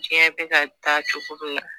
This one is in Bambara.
Diɲɛ bɛ ka taa cogo dɔ la